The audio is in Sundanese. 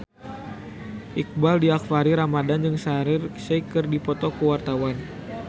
Iqbaal Dhiafakhri Ramadhan jeung Shaheer Sheikh keur dipoto ku wartawan